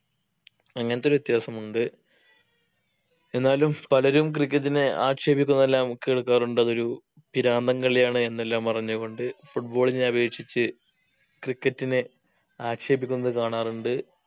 അങ്ങത്തൊരു വിത്യാസമുണ്ട് എന്നാലും പലരും cricket നെ ആക്ഷേപിക്കുന്നെല്ലാം കേൾക്കാറുണ്ട് അതൊരു പിരാന്തൻ കളിയാണ് എന്നെല്ലാം പറഞ്ഞു കൊണ്ട് football നെ അപേക്ഷിച്ച് cricket നെ ആക്ഷേപിക്കുന്നത് കാണാറുണ്ട്